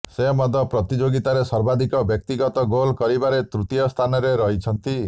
ସେ ମଧ୍ୟ ପ୍ରତିଯୋଗିତାରେ ସର୍ବାଧିକ ବ୍ୟକ୍ତିଗତ ଗୋଲ୍ କରିବାରେ ତୃତୀୟ ସ୍ଥାନରେ ରହିଛନ୍ତି